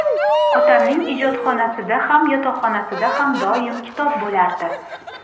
Otamning ijodxonasida ham, yotoqxonasida ham doim kitob bo‘lardi.